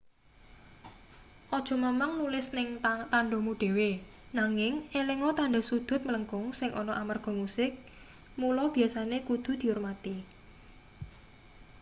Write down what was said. aja mamang nulis ing tandhamu dhewe nanging elinga tandha sudhut mlengkung sing ana amarga musik mula biasane kudu diurmati